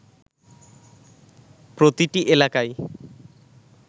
প্রতিটি এলাকায়